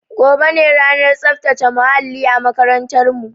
Gobe ne ranar tsaftace muhalli a makarantar mu